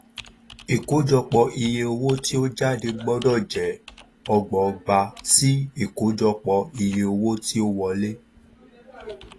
ìkójọpò iye owo ti o jade gbọdọ je ọgbọgba sí ìkójọpò iye owo ti o wole